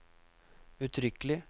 uttrykkelig